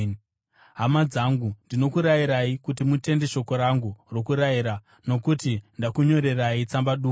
Hama dzangu ndinokurayirai kuti mutende shoko rangu rokurayira, nokuti ndakunyorerai tsamba duku.